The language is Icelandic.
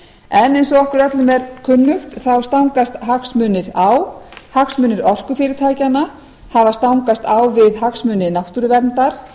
en eins og okkur öllum er kunnugt stangast hagsmunir á hagsmunir orkufyrirtækjanna hafa stangast á við hagsmuni náttúruverndar